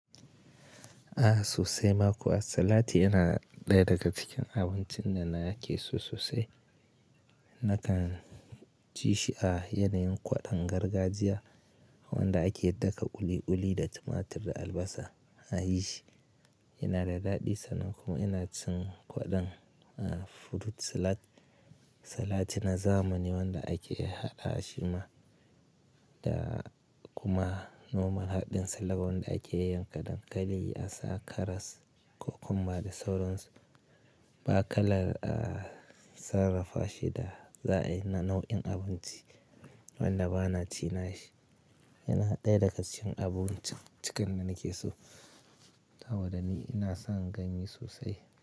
Aha sosai ma kuwa, a salat yana ɗaya daga cikin abincin da na ke so sosai. Nakan ci shi a yanayin kwaɗon gargajiya wanda ake daka ulu-uli da tumatir da albasa a yi shi. Yana da daɗi sanan kuma ina cin kwaɗon, ah, fruit salad. Salat na zamani wanda ake haɗa shi ma da kuma nomal haɗin salad wanda ake yayyanka dankali, asa karas kokomba da sauransu. Bakalar a sarrafa shi da za'a yi na nau'in abinci wanda ba na ci na shi. Yana ɗaya daga cikin abinci cikan da nake so. Saboda ni ina son ganye sosai.